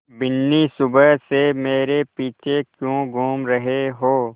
बिन्नी सुबह से मेरे पीछे क्यों घूम रहे हो